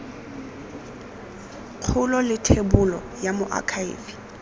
kgolo le thebolo ya moakhaefe